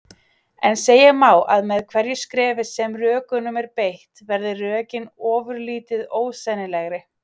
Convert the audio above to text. En segja má að með hverju skrefi sem rökunum er beitt verði rökin ofurlítið ósennilegri.